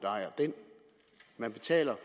man betaler